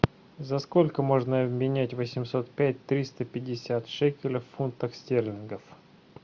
за сколько можно обменять восемьсот пять триста пятьдесят шекелей в фунтах стерлингов